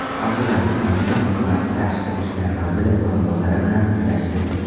Abdulaziz Komilov Kuvayt tashqi ishlar vaziri o‘rinbosari bilan uchrashdi.